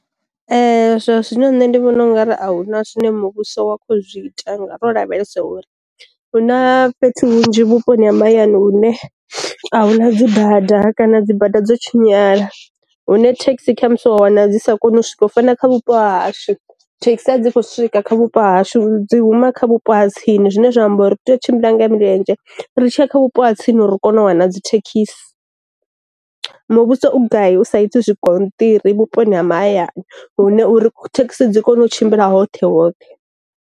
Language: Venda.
Zwa zwino nṋe ndi vhona ungari a huna zwine muvhuso wa kho zwi ita nga ro lavhelesa uri, huna fhethu hunzhi vhuponi ha mahayani une a huna dzi bada kana dzi bada dzo tshinyala, hune thekhisi hone khamusi wa wana dzi sa koni u swika fana kha vhupo hashu, thekhisi a dzi khou swika kha vhupo hashu dzi huma kha vhupo ha tsini zwine zwa amba uri tea u tshimbila nga milenzhe ri tshiya kha vhu ha tsini uri u kone u wana dzi thekhisi. Muvhuso u gai usa iti zwi gonṱiri vhuponi ha mahayani hune uri thekhisi dzi kone u tshimbila hoṱhe hoṱhe.